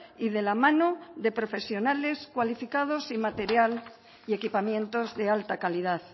y de la mano de profesionales cualificados y material y equipamientos de alta calidad